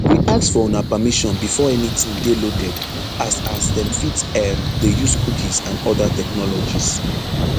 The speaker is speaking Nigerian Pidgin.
we ask for una permission before anytin dey loaded as as dem fit um dey use cookies and oda technologies